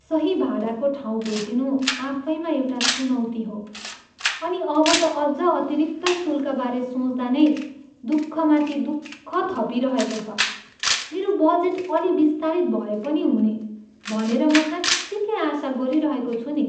सही भाडाको ठाउँ भेटिनु आफैमा एउटा चुनौती हो, अनि अब त अझ अतिरिक्त शुल्कबारे सोच्दा नै दुःखमाथि दुःख थपिइरहेको छ। मेरो बजेट अलि बिस्तारित भए पनि हुने भनेर म साँच्चिकै आशा गरिरहेको छु नि।